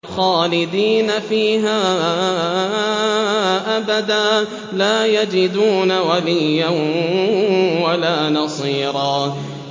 خَالِدِينَ فِيهَا أَبَدًا ۖ لَّا يَجِدُونَ وَلِيًّا وَلَا نَصِيرًا